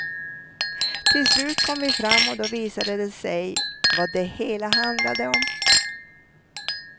Till slut kom vi fram och då visade det sig vad det hela handlade om.